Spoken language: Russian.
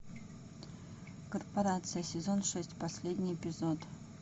корпорация сезон шесть последний эпизод